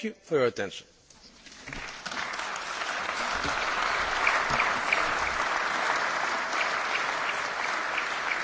To było przedstawienie kolegium komisarzy i oświadczenie na temat porozumienia ramowego w sprawie stosunków Parlamentu Europejskiego z Komisją Europejską.